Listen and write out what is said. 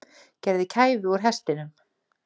Gerði kæfu úr hestinum